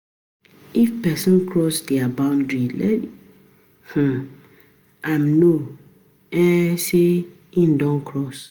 If person cross di boundry, let um am know um sey im don cross